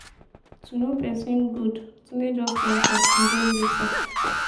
yo know person goodtunde just enter he get visa.